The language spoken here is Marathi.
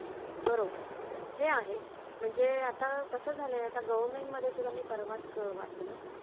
कमतरच दिसत. या उतारी पुरुषासंबंधी लिहिता लिहिता समर्थ असे म्हणतात, तयाचे गुणं महात्वासी तुलना कैची? यशवंत, कीर्तिवंत, समर्थवंत, नीतिवंत जाणता,